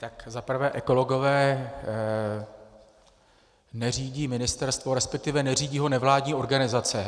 Tak za prvé ekologové neřídí ministerstvo, respektive neřídí ho nevládní organizace.